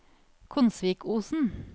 Konsvikosen